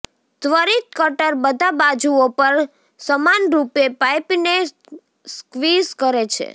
ત્વરિત કટર બધા બાજુઓ પર સમાનરૂપે પાઇપને સ્ક્વીઝ કરે છે